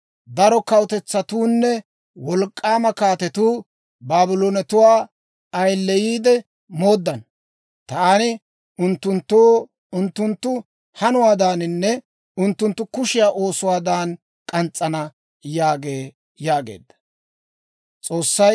Daro kawutetsatuunne wolk'k'aama kaatetuu Baabloonetuwaa ayileyiide mooddana. Taani unttunttoo unttunttu hanuwaadaaninne unttunttu kushiyaa oosuwaadan k'ans's'ana› yaagee» yaageedda.